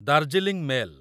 Darjeeling mail